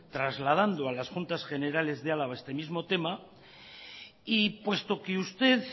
trasladando a las juntas generales de álava este mismo tema y puesto que usted